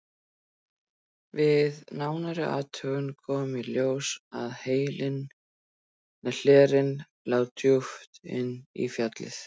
Við nánari athugun kom í ljós að hellirinn lá djúpt inn í fjallið.